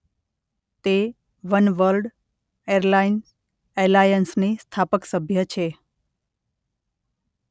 તે Oneworld airline એલાયન્સની સ્થાપક સભ્ય છે.